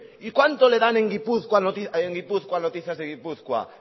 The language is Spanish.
y cuánto le dan en gipuzkoa noticias de gipuzkoa